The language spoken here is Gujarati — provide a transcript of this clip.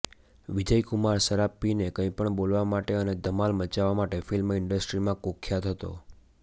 વિજયકુમાર શરાબ પીને કંઇ પણ બોલવા માટે અને ધમાલ મચાવવા માટે ફિલ્મ ઇન્ડસ્ટ્રીમાં કુખ્યાત હતો